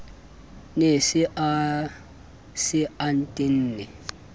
ne a se a tenne